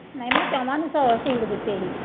ਨਹੀਂ ਮੈਂ ਚੋਵਾਂ ਨੂੰ ਸ ਸੂਟ ਦਿੱਤੇ ਸੀਗੇ।